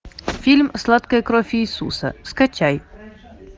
фильм сладкая кровь иисуса скачай